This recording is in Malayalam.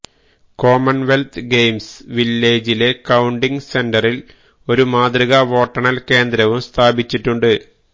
കോമണ്വെല്ത്ത് ഗെയിംസ് വില്ലേജിലെ കൌണ്ടിങ് സെന്ററില് ഒരു മാതൃകാ വോട്ടെണ്ണല് കേന്ദ്രവും സ്ഥാപിച്ചിട്ടുണ്ട്